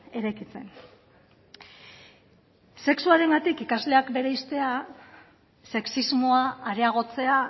eraikitzen sexuarengatik ikasleak bereiztea sexismoa areagotzea